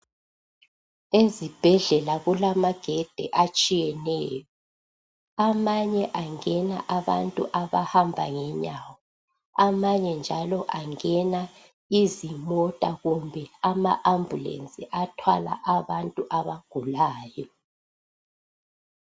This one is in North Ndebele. Ezibhedlela kulamagedi atshiyeneyo amanye angena abantu abahamba ngenyawo amanye njalo angena izimota kumbe ama ambulensi athwala abantu abagulayo.